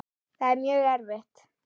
Það er mjög erfitt.